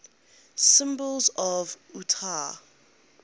symbols of utah